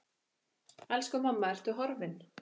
Elsku mamma, Ertu horfin?